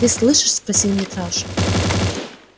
ты слышишь спросил митраша